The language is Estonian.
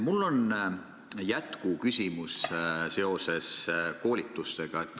Mul on jätkuküsimus seoses koolitustega.